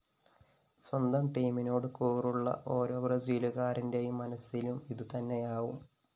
സ്വന്തം ടീമിനോടു കൂറുള്ള ഓരോ ബ്രസീലുകാരന്റെയും മനസിലും ഇതുതന്നെയാവും